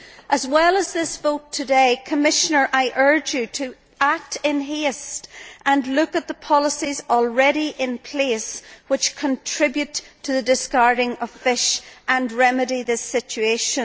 As well as this vote today, Commissioner, I urge you to act in haste and look at the policies already in place which contribute to the discarding of fish and remedy this situation.